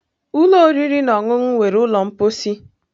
Ụlọ oriri na ọṅụṅụ nwere ụlọ mposi.